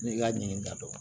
Ne ka ɲin ka dɔgɔ